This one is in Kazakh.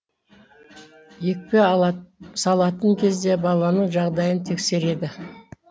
екпе салатын кезде баланың жағдайын тексереді